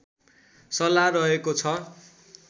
सल्लाह रहेको छ